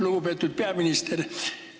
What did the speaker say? Lugupeetud peaminister!